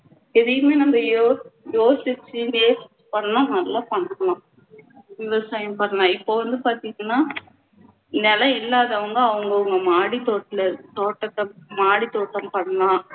எதையுமே நம்ம யோஸ்~ யோசிச்சு பண்ணினா நல்லா பண்ணலாம் விவசாயம் பண்ணலாம் இப்போ வந்து பாத்திங்கண்ணா நிலம் இல்லாதவங்க அவங்க அவங்க மாடித்தோட்டுல~ தோட்டத்துல மாடித்தோட்டத்துல மாடித் தோட்டம் பண்ணலாம்